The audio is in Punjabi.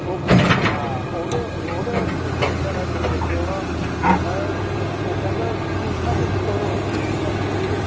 ok ਹਾਂ ਉਹਦੇ ਉਹਦਾ version ਏ ਤੁਸੀਂ ਦੇਖੀਆ ਹੋਣਾ ਹੁਣ ਬੀ ਉਹ ਕਹਿੰਦਾ ਕੁੱਝ ਨਾ ਕੁੱਝ ਕਰੋ ਸਰੀਰ ਨਾਲ ਜਰੂਰ